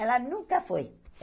Ela nunca foi.